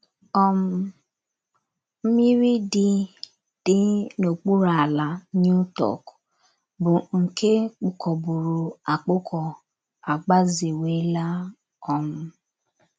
um Mmiri dị dị n’okpuru ala Newtok, bụ́ nke kpụkọburu akpụkọ, agbazewela um.